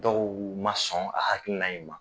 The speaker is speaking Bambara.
Dɔw ma sɔn a hakilina in ma